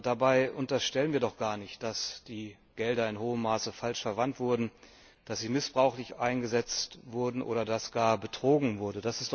Dabei unterstellen wir doch gar nicht, dass die Gelder in hohem Maße falsch verwendet wurden, dass sie missbräuchlich eingesetzt wurden oder dass gar betrogen wurde.